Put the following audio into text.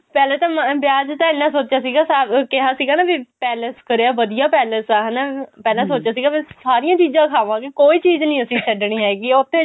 ਪਹਿਲਾਂ ਤਾਂ ਵਿਆਹ ਚ ਇੰਨਾ ਸੋਚਿਆ ਸੀਗਾ ਨਾ ਕਿਹਾ ਸੀਗਾ ਨਾ ਵੀ palace ਕਰਿਆ ਵਧੀਆ palace ਆ ਹਨਾ ਪਹਿਲਾਂ ਸੋਚਿਆ ਸੀਗਾ ਅਸੀਂ ਸਾਰੀਆਂ ਚੀਜ਼ਾਂ ਖਾਵਾਂਗੇ ਕੋਈ ਚੀਜ਼ ਨਹੀ ਅਸੀਂ ਛੱਡਣੀ ਹੈਗੀ ਏ ਉੱਥੇ